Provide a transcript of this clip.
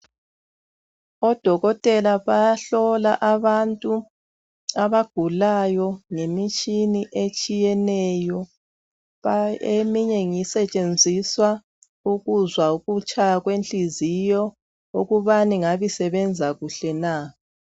Odokotela bayahlola abantu abagulayo ngemitshina etshiyeneyo eminye ngasetshenziswa ukuzwa ukutshaya kwenhliziyo ukubana ngabe isebenza kuhle na